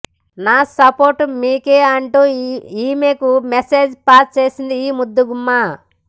నా సపోర్ట్ మీకే అంటూ ఈమెకు మెసేజ్ పాస్ చేసింది ఈ ముద్దుగుమ్మ